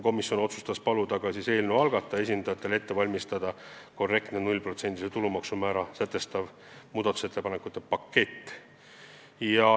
Komisjon otsustas paluda eelnõu algataja esindajatel ette valmistada korrektne nullprotsendilist tulumaksu määra sätestav muudatusettepanekute pakett.